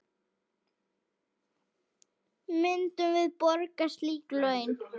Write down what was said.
Myndum við borga slík laun?